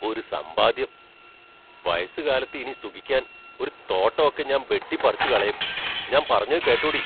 ഒരു സമ്പാദ്യം; വയസ്സുകാലത്ത് ഇനി സുകിക്കാൻ ഒരു തോട്ടം ഒക്കെ ഞാൻ ബെട്ടിപ്പറിച്ചുകളേം ഞാമ്പറഞ്ഞതു കേട്ടോടീ?